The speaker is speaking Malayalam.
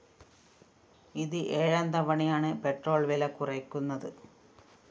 ഇത് ഏഴാം തവണയാണ് പെട്രോൾ വില കുറയ്ക്കുന്നത്